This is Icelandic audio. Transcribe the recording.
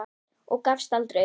Og gafst aldrei upp.